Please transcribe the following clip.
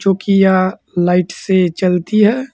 चुकी यह लाइट से चलती है।